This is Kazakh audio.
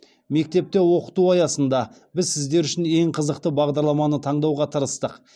мектепте оқыту аясында біз сіздер үшін ең қызықты бағдарламаны таңдауға тырыстық